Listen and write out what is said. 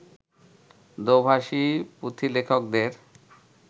দো-ভাষী পুঁথিলেখকদের